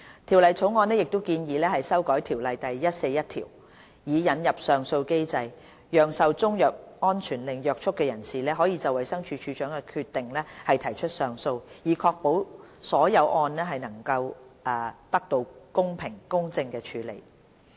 《條例草案》亦建議修訂《條例》第141條，以引入上訴機制，讓受中藥安全令約束的人士可就衞生署署長的決定提出上訴，以確保所有個案得到公平公正處理。